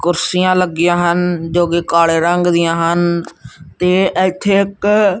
ਕੁਰਸੀਆਂ ਲੱਗੀਆਂ ਹਨ ਜੋ ਕਿ ਕਾਲੇ ਰੰਗ ਦੀਆਂ ਹਨ ਤੇ ਇੱਥੇ ਇੱਕ--